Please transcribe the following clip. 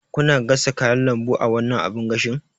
Kuna gasa kayan lambu a wannan abin gashin?